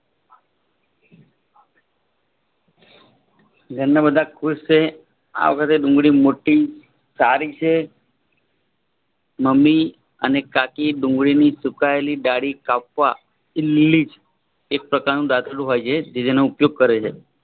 ઘરના બધા ખુશ છે. આ વર્ષે ડુંગળી મોટી સારી છે. મમ્મી અને કાકી ડુંગળીની સુકાયેલી ડાળી કાપવા એ ઈમ્લીજ એક પ્રકારનું દાતરડું હોય છે. જેતેનો ઉપયોગ કરે છે